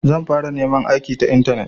Zan fara neman aiki ta intanet.